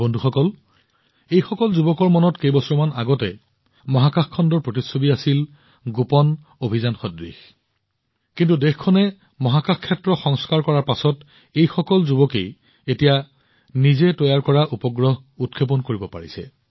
বন্ধুসকল এইসকল এনে যুৱকযুৱতী যাৰ মনত কেইবছৰমান আগতে মহাকাশ খণ্ডৰ প্ৰতিচ্ছবি এক গোপন অভিযানৰ দৰে আছিল কিন্তু দেশখনে মহাকাশ খণ্ডত সংস্কাৰ সাধন কৰিছে আৰু সেইসকল যুৱকযুৱতীয়ে এতিয়া তেওঁলোকৰ নিজা উপগ্ৰহ উৎক্ষেপণ কৰিছে